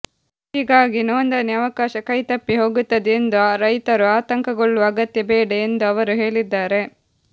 ಹೀಗಾಗಿ ನೋಂದಣಿ ಅವಕಾಶ ಕೈತಪ್ಪಿ ಹೋಗುತ್ತದೆ ಎಂದು ರೈತರು ಆತಂಕಗೊಳ್ಳುವ ಅಗತ್ಯ ಬೇಡ ಎಂದು ಅವರು ಹೇಳಿದ್ದಾರೆ